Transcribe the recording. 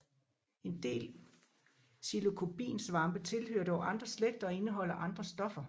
En del psilocybinsvampe tilhører dog andre slægter og indeholder andre stoffer